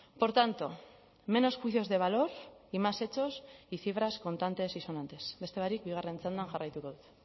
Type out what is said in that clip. por tanto menos juicios de valor y más hechos y cifras contantes y sonantes beste barik bigarren txandan jarraituko dut